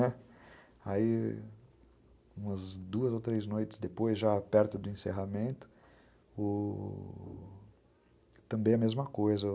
Né, aí, umas duas ou três noites depois, já perto do encerramento, também a mesma coisa.